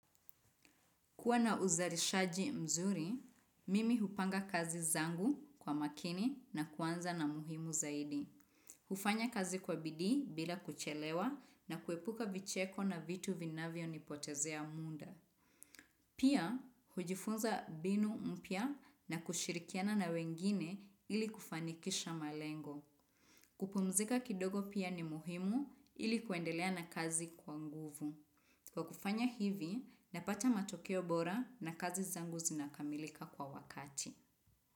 Kuwa na uzarishaji mzuri, mimi hupanga kazi zangu kwa makini na kuanza na muhimu zaidi. Hufanya kazi kwa bidii bila kuchelewa na kuepuka vicheko na vitu vinavyonipotezea muda. Pia, hujifunza mbinu mpya na kushirikiana na wengine ili kufanikisha malengo. Kupumzika kidogo pia ni muhimu ili kuendelea na kazi kwa nguvu. Kwa kufanya hivi, napata matokeo bora na kazi zangu zinakamilika kwa wakati.